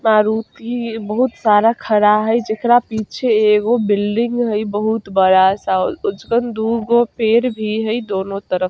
मारुती बोहुत सारा खड़ा हेय जेकरा पीछे एगो बिल्डिंग हेय बहुत बड़ा सा ओजकन दू गो पेड़ भी हेय दोनों तरफ।